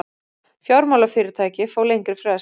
Fjármálafyrirtæki fá lengri frest